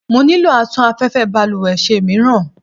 mo nilò atún afẹ́fẹ́ balúwẹ́ ṣe míràn